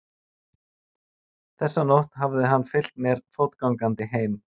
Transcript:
Þessa nótt hafði hann fylgt mér fótgangandi heim.